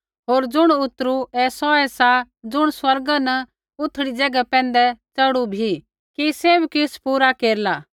होर ज़ुण उतरु ऐ सौऐ सा ज़ुण स्वर्गा न उथड़ी ज़ैगा पैंधै च़ढ़ू भी कि सैभ किछ़ पूरा केरला